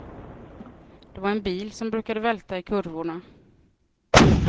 Det var en bil som brukade välta i kurvorna.